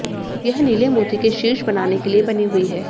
यह नीले मोती के शीर्ष बनाने के लिए बनी हुई है